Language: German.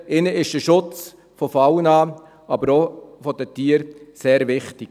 ihnen ist der Schutz der Tiere sehr wichtig.